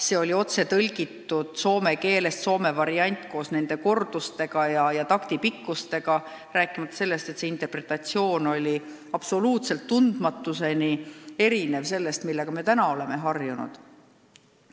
See oli otse tõlgitud soome keelest, see oli soome variant koos korduste ja taktipikkustega, rääkimata sellest, et interpretatsioon oli tundmatuseni erinev sellest, millega me oleme nüüd harjunud.